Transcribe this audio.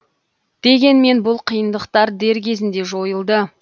дегенмен бұл қиындықтар дер кезінде жойылды